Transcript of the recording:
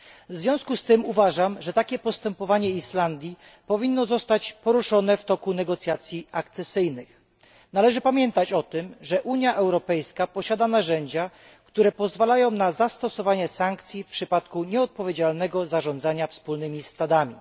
W związku z tym uważam, że kwestia takiego postępowania Islandii powinna zostać poruszona w toku negocjacji akcesyjnych. Należy pamiętać o tym, że Unia Europejska posiada narzędzia, które pozwalają na zastosowanie sankcji w przypadku nieodpowiedzialnego zarządzania wspólnymi stadami.